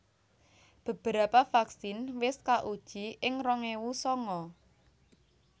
Beberapa vaksin wis kauji ing rong ewu sanga